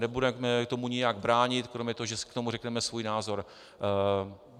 Nebudeme tomu nijak bránit kromě toho, že si k tomu řekneme svůj názor.